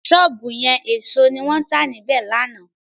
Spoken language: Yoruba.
Sọ́ọ̀bù yẹn èso ni wọ́n tà níbẹ̀ lánàá.